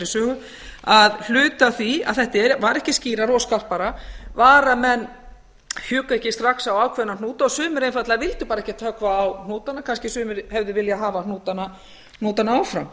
sögu að hluti af því að þetta var ekki skýrara og skarpara var að menn hjuggu ekki strax á ákveðna hnúta og sumir einfaldlega vildu bara ekkert höggva á hnútana kannski sumir hefðu viljað hafa hnútana áfram